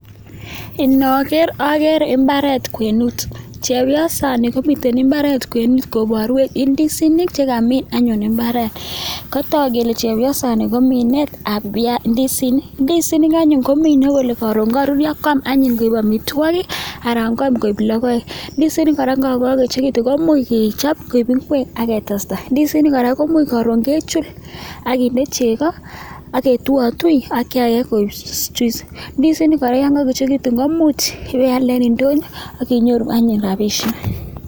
Iniker agere imbaret kwenet chepyosaini komiten imbaret kwenet kobaru indisinik chekamin anyun imbaret katak kele chepyoset Nebo Minet ab biasinik indisinik anyun komie Kole Karon karurio kwam anyun keib amitwagik anan kwam koig logoek ndisinik yegagoechekitun komuch kechob koik ingwek agetesta indisinik koraa komuch Karon kechul akinde chego agetuiyatui indisinik koraa yangaechekitun iwe iyalde en indonyo akinyoru anyun rabishek